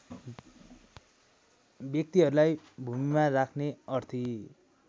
व्यक्तिहरूलाई भूमिमा राख्ने अर्थी